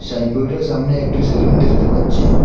সাইনবোর্ডের সামনে একটি সেলুন দেখতে পাচ্ছি।